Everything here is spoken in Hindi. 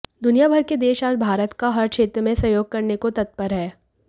दुनिया भर के देश आज भारत का हर क्षेत्र में सहयोग करने को तत्पर हैं